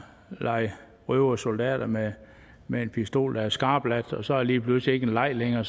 lege røvere og soldater med med en pistol der er skarpladt og så er det lige pludselig ikke en leg længere